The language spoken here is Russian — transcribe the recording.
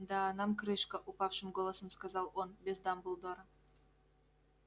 да нам крышка упавшим голосом сказал он без дамблдора